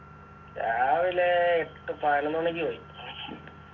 രാവിലെ എട്ട് പതിനൊന്നുമണിക്ക് പോയി